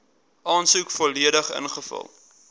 aansoek volledig ingevul